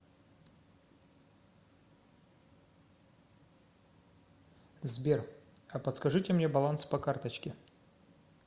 сбер а подскажите мне баланс по карточке